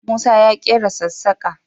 Musa ya ƙera sassaƙa